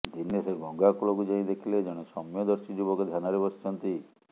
ଦିନେ ସେ ଗଙ୍ଗାକୂଳକୁ ଯାଇ ଦେଖିଲେ ଜଣେ ସୌମ୍ୟଦର୍ଶୀ ଯୁବକ ଧ୍ୟାନରେ ବସିଛନ୍ତି